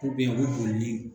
Ko beyi u bɛ boli ni.